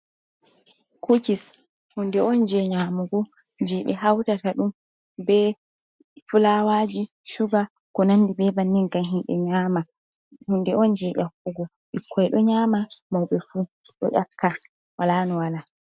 Kukis, hunde on jey nyaamugo, jey ɓe hawtata ɗum be fulaawaaji, cuga, ko nanndi be bannin, ngam himɓe nyaama, hunde on jey ƴakkugo, ɓikkoy ɗo nyaama, mawbe fuu ɗo ƴakka wolaa no wola.